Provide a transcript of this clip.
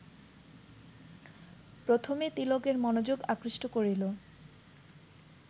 প্রথমে তিলকের মনোযোগ আকৃষ্ট করিল